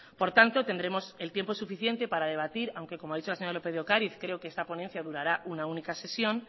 por tanto tendremos el tiempo suficiente para debatir aunque como a dicho la señora lópez de ocariz creo que esta ponencia durará una única sesión